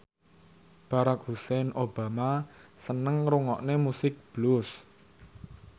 Barack Hussein Obama seneng ngrungokne musik blues